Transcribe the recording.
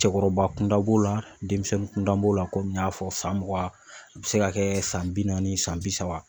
Cɔkɔrɔba kun da b'o la denmisɛnnin kunda b'o la komi n y'a fɔ san mugan a be se ka kɛ san bi naani san bi saba